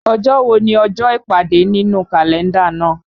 Ọjọ́ wo ni ọjọ́ ìpàdé nínú Kalenda náà?